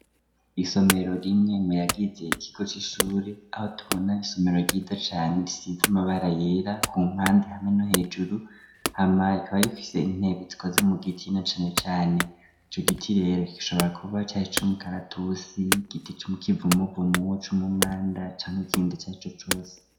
Isomero rimwe mu yagize ikigo c'ishure aho tubona isomero ryiza cane risize amabara yera ku mpande hamwe no hejuru, hama ikaba rifise intebe zikoze mu giti na cane cane ico giti rero kigashobora kuba ca ic'umukaratusi, igiti c'ikivumuvumu, c'umumanda canke ikindi icarico cose.